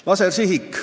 Lasersihik.